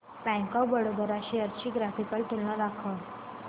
bank of Baroda shares ची graphical तुलना दाखव